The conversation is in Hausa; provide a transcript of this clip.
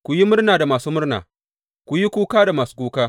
Ku yi murna da masu murna, ku yi kuka da masu kuka.